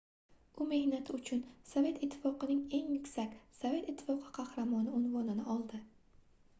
u mehnati uchun sovet ittifoqining eng yuksak - sovet ittifoqi qahramoni unvonini oldi